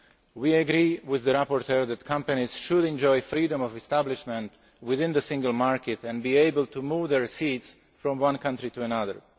valid. We agree with the rapporteur that companies should enjoy freedom of establishment within the single market and be able to move their seats from one country to